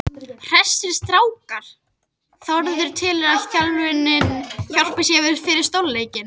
Hressir strákar: Þórður telur að þjálfunin hjálpi sér fyrir stórleikinn.